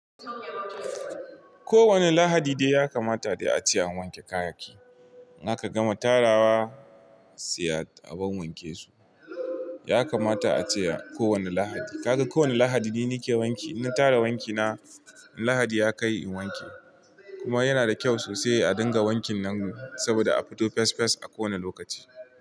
Ko wani lahadi dai ya kamata dai a ce an wanke kayaki. In aka gama tarawa sai a wawwanke su. Ya kamata ace ko wani lahadi. Kaga ko wani lahadi dai nake wanke, na tara wanki na in lahadi ya kai in wanke. Kuma yana da kyau sosai a dinga wankin nan saboda a fito fes fes a kowane lokaci.